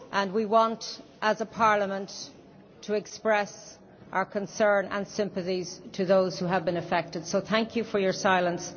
We want as a Parliament to express our concern and sympathies to those who have been affected, so thank you for your silence.